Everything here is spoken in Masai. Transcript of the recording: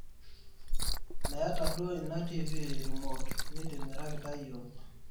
meeta duo ina tv remote nitimirakita iyiiok